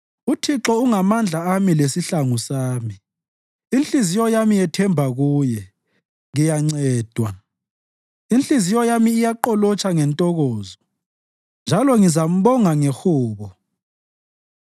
UThixo ungamandla ami lesihlangu sami; inhliziyo yami yethemba Kuye, ngiyancedwa. Inhliziyo yami iyaqolotsha ngentokozo njalo ngizambonga ngehubo.